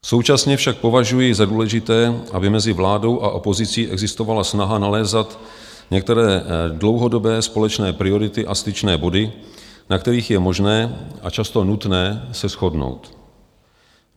Současně však považuji za důležité, aby mezi vládou a opozicí existovala snaha nalézat některé dlouhodobé společné priority a styčné body, na kterých je možné a často nutné se shodnout.